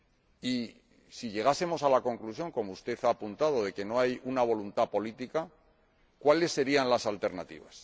Y, si llegásemos a la conclusión como usted ha apuntado de que no hay voluntad política, ¿cuáles serían las alternativas?